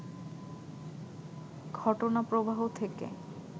ঘটনাপ্রবাহ থেকে